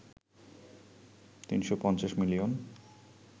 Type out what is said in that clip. ৩৫০ million